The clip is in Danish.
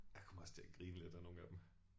Jeg kom også til at grine lidt af nogle af dem